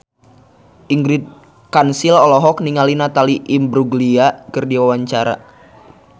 Ingrid Kansil olohok ningali Natalie Imbruglia keur diwawancara